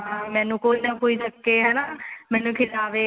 ਹਾਂ ਮੈਨੂੰ ਕੋਈ ਨਾ ਕੋਈ ਚੱਕੇ ਹਨਾ ਮੈਨੂੰ ਖਿਲਾਵੇ